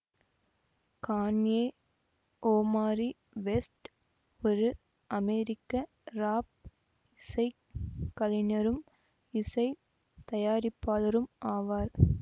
Kanye Omari West ஒரு அமெரிக்க rap இசை கலைஞரும் இசை தயாரிப்பாளரும் ஆவார்